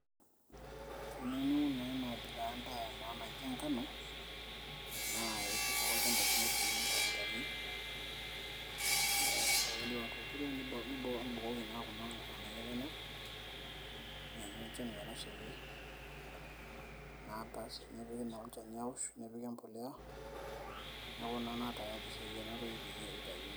teniyieu niun naa ena abila endaa naa naji enkano naa iturr ake olchamba lino aitumia iltarakitani ee ore piindip atuturo nibukoki naa kuna ng'anayio enyenak nianyu enchan metashaiki naa baas nipik naa olchani awosh nepiki empoleya neeku naa tayari sai enatoki peyie eitayuni.